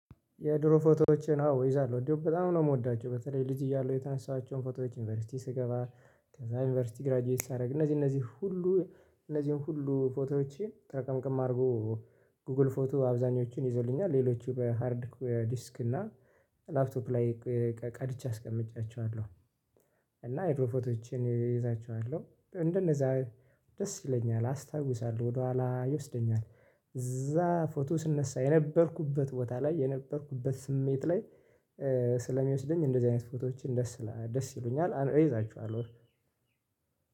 የድሮ ፎቶዎቼን አዎ እይዛለሁ እንዲያውም በጣም ነው የምወዳቸው በተለይ ልጅ እያለሁ የተነሳኋቸውን ፎቶዎች ዩኒቨርሲቲ ስገባ ከዛ ዩኒቨርሲቲ ግራጁዌት ሳደርግ እነዚህ እነዚህን ሁሉ እነዚህን ሁሉ ፎቶዎቼን ጠርቀምቅም አድርጎ ጉግል ፎቶ አብዛኞቹን ይዞልኛል ሌሎቹ በሃርድ ዲስክ እና ላፕቶፕ ላይ ቀ ቀድቼ አስቀምጫቸዋለሁ። እና የድሮ ፎቶቼን እይዛችኋለሁ እንደነዛ ደስ ይለኛል አስታውሳለሁ ወደኋላ ይወስደኛል። እዛ ፎቶ ስነሳ የነበርኩበት ቦታ ላይ የነበርኩበት ስሜት ላይ ስለሚወስደኝ እንደዚህ አይነት ፎቶዎችን ደስ ይሉኛል ደስ ይሉኛል እይዛቸዋለሁ።